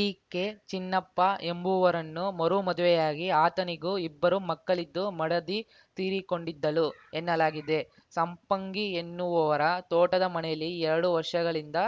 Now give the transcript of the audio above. ಈಕೆ ಚಿನ್ನಪ್ಪ ಎಂಬುವರನ್ನು ಮರು ಮದುವೆಯಾಗಿ ಆತನಿಗೂ ಇಬ್ಬರು ಮಕ್ಕಳಿದ್ದು ಮಡದಿ ತೀರಿಕೊಂಡಿದ್ದಳು ಎನ್ನಲಾಗಿದೆ ಸಂಪಂಗಿ ಎನ್ನುವವರ ತೋಟದ ಮನೆಯಲ್ಲಿ ಎರಡು ವರ್ಷಗಳಿಂದ